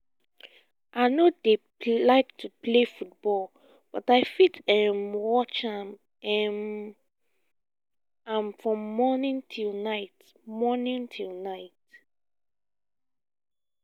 i no dey like to play football but i fit um watch um am from morning till night morning till night